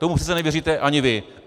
Tomu přece nevěříte ani vy!